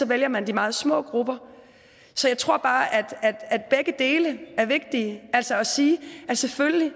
vælger man de meget små grupper så jeg tror bare at begge dele er vigtigt selvfølgelig